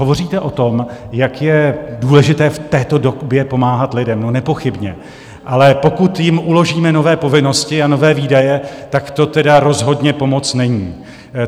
Hovoříte o tom, jak je důležité v této době pomáhat lidem - no nepochybně, ale pokud jim uložíme nové povinnosti a nové výdaje, tak to teda rozhodně pomoc není.